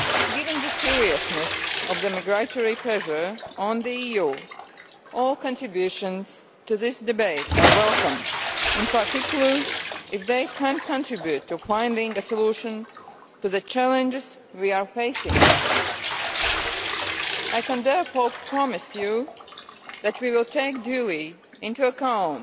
Given the seriousness of the migratory pressure on the EU, all contributions to this debate are welcome, in particular if they can contribute to finding a solution to the challenges we are facing. I can therefore promise you that we will take duly into account